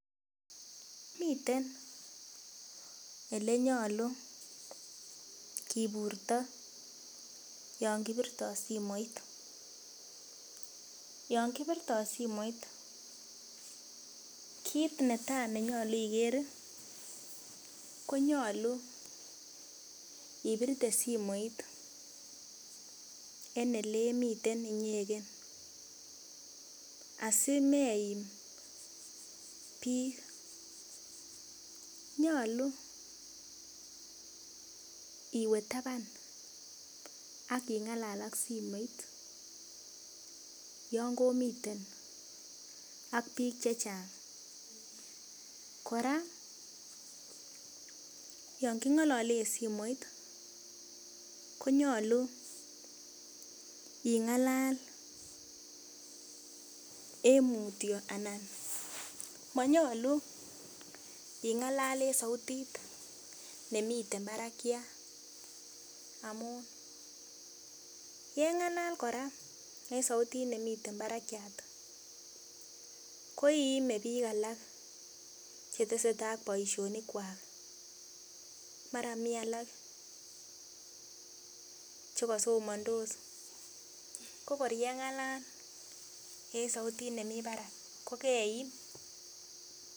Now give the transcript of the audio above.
Miten elenyolu kiburto yon kibirtoo simoit yon kibirtoo simoit kit netaa nenyolu iker ih konyolu ibirte simoit en elemiten inyeken asimeim biik nyolu iwe taban ak ing'alal ak simoit yon komiten ak biik chechang kora yon king'olole en simoit konyolu ing'alal en mutyo ana monyolu ing'alal en sautit nemiten barakiat amu yeng'alal kora en sautit nemiten barakiat koiime biik alak chetesetaa ak boisionik kwak mara mii alak chekosomondos ko kor yeng'alal en sautit nemii barak ko keim